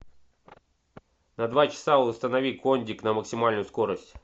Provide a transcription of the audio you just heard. на два часа установи кондик на максимальную скорость